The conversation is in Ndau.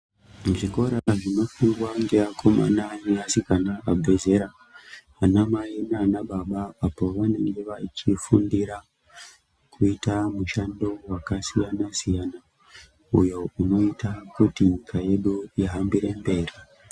Muzvikora zvinonofundwa ngeakomna ngeasikana vabve zera ,vanamai nanababa apo pavanenge vachifundira kuita mushando wakasiyana siyana uyo unoita kuti nyika yedu ihambire mberi.